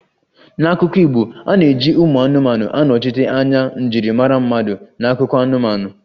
N'akụkọ Igbo, a na-eji ụmụ anụmanụ anọchite anya njirimara mmadụ n'akụkọ anụmanụ